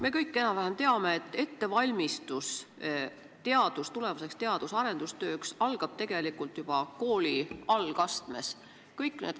Me kõik enam-vähem teame, et ettevalmistus tulevaseks teadus- ja arendustööks algab tegelikult juba kooli algastmes.